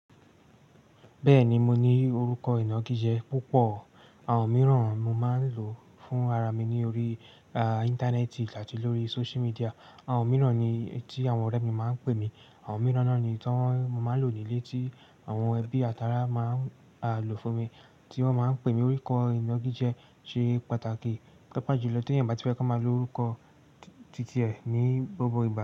Bẹ́ẹ̀ni, mo ní orúkọ ìnagijẹ púpọ̀, àwọn mìíràn mo máa ń lò fún ara mi ni ori Íńtánẹ́ẹ̀tì àti lórí social medìà, àwọn mìíràn ni eyi tí àwọn ọ̀rẹ́ mi máa ń pè mí, àwọn mìíràn náà ni tí mo máa ń lò ní ilé tí àwọn ẹbí àti ará máa n lò fún mi, tí wọ́n máa ń pè mí. Orúkọ ìnagijẹ ṣe pàtàkì paapaa jùlọ tí ẹ̀ayan o bá ti fẹ́ kán máa lo orúkọ t-titiẹ̀ ní gbogbo ìgbà.